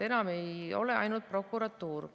Enam ei ole ainult prokuratuur.